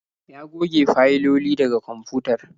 Ya goge fayiloli daga kwamfutar